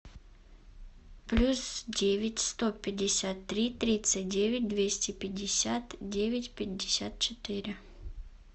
плюс девять сто пятьдесят три тридцать девять двести пятьдесят девять пятьдесят четыре